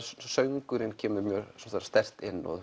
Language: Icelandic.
söngurinn kemur sterkt inn og